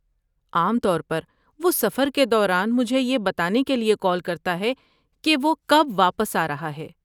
عام طور پر وہ سفر کے دوران مجھے یہ بتانے کے لیے کال کرتا ہے کہ وہ کب واپس آ رہا ہے۔